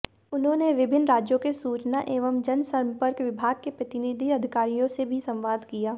उन्होंने विभिन्न राज्यों के सूचना एवं जनसंपर्क विभाग के प्रतिनिधि अधिकारियों से भी संवाद किया